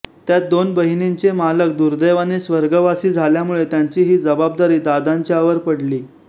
त्यात दोन बहिणींचे मालक दुर्दैवाने स्वर्गवासी झाल्यामुळे त्यांची ही जबाबदारी दादांच्यावर पडली